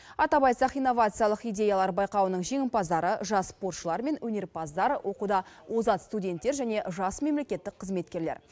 атап айтсақ инновациялық идеялар байқауының жеңімпаздары жас спортшылар мен өнерпаздар оқуда озат студенттер және жас мемлекеттік қызметкерлер